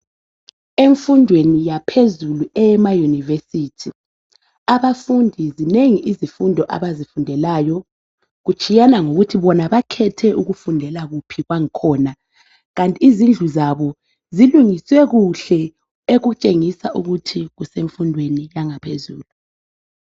Emfundweni yaphezulu eyemaYunivesithi. Abafundi zinengi izifundo abazifundelayo, kutshiyana ngokuthi bona bakhethe ukufundela kuphi kwangikhona. Kanti izindlu zabo zilungiswe kuhle ekutshengisa ukuthi kusemfundweni yangaphezulu.